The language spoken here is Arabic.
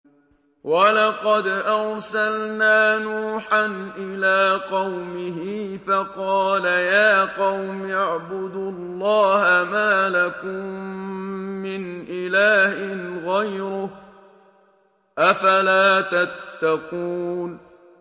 وَلَقَدْ أَرْسَلْنَا نُوحًا إِلَىٰ قَوْمِهِ فَقَالَ يَا قَوْمِ اعْبُدُوا اللَّهَ مَا لَكُم مِّنْ إِلَٰهٍ غَيْرُهُ ۖ أَفَلَا تَتَّقُونَ